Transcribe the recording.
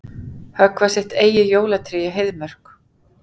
Höggva sitt eigið jólatré í Heiðmörk